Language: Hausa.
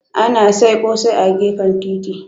Ana sai ƙosai a gefen titi.